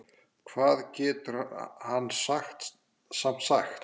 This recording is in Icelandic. Hvað getur hann samt sagt?